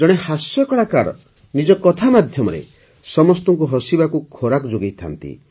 ଜଣେ ହାସ୍ୟ କଳାକାର ନିଜ କଥା ମାଧ୍ୟମରେ ସମସ୍ତଙ୍କୁ ହସିବାକୁ ଖୋରାକ ଯୋଗାଇଥାନ୍ତି